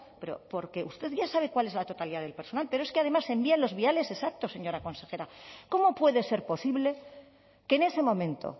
pero porque usted ya sabe cuál es la totalidad del personal pero es que además se envían los viales exactos señora consejera cómo puede ser posible que en ese momento